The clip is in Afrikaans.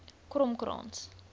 kromkrans